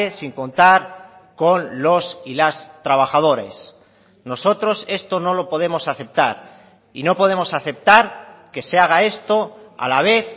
sin contar con los y las trabajadores nosotros esto no lo podemos aceptar y no podemos aceptar que se haga esto a la vez